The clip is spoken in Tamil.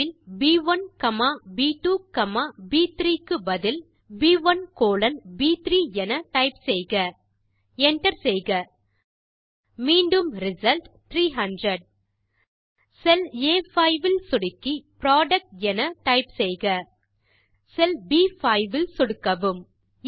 அடைப்பில் ப்1 காமா ப்2 காமா ப்3 க்கு பதில் ப்1 கோலோன் ப்3 என டைப் செய்க Enter செய்க மீண்டும் ரிசல்ட் 300 செல் ஆ5 இல் சொடுக்கி புரொடக்ட் என டைப் செய்க செல் ப்5 இல் சொடுக்கவும்